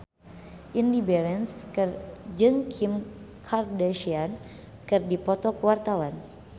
Indy Barens jeung Kim Kardashian keur dipoto ku wartawan